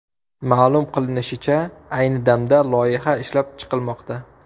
Ma’lum qilinishicha, ayni damda loyiha ishlab chiqilmoqda.